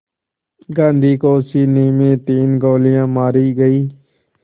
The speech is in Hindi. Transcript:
गांधी को सीने में तीन गोलियां मारी गईं